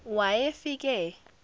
wayefike